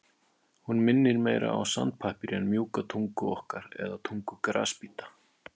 Hún minnir meira á sandpappír en mjúka tungu okkar eða tungu grasbíta.